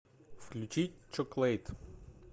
включить чоклэйт